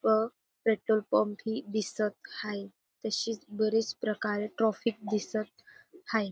व petrol pump ही दिसत प्रकारे हाये तशीच बरेच ट्राफिक दिसत हाय.